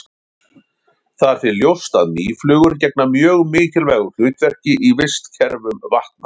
það er því ljóst að mýflugur gegna mjög mikilvægu hlutverki í vistkerfum vatna